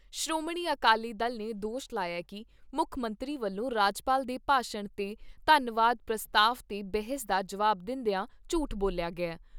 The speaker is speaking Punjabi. ਸ਼੍ਰੋਮਣੀ ਅਕਾਲੀ ਦਲ ਨੇ ਦੋਸ਼ ਲਾਇਆ ਕਿ ਮੁੱਖ ਮੰਤਰੀ ਵੱਲੋਂ ਰਾਜਪਾਲ ਦੇ ਭਾਸ਼ਣ 'ਤੇ ਧੰਨਵਾਦ ਪ੍ਰਸਤਾਵ 'ਤੇ ਬਹਿਸ ਦਾ ਜਵਾਬ ਦਿੰਦਿਆ ਝੂਠ ਬੋਲਿਆ ਗਿਆ ।